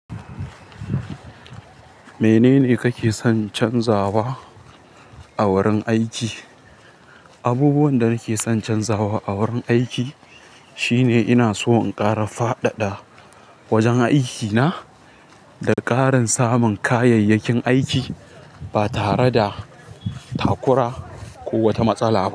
Menene kake son canzawa a wurin aiki? Abubuwan da nake son canzawa a wurin aiki shine ina so in ƙara fadada wajen aikina da ƙarin samun kayayyakin aiki ba tare da takura ko wata matsala ba.